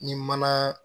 Ni mana